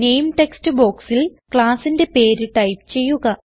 നാമെ text ബോക്സിൽ classന്റെ പേര് ടൈപ്പ് ചെയ്യുക